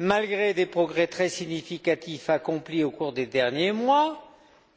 Malgré des progrès très significatifs accomplis au cours des derniers mois,